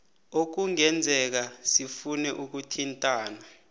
ekungenzeka sifune ukuthintana